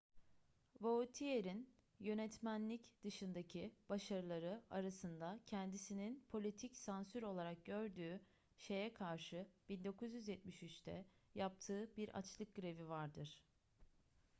vautier'in yönetmenlik dışındaki başarıları arasında kendisinin politik sansür olarak gördüğü şeye karşı 1973'te yaptığı bir açlık grevi vardır